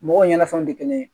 Mɔgɔw ɲɛnafɛnw tɛ kelen ye